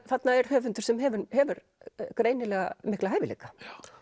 þarna er höfundur sem hefur hefur greinilega mikla hæfileika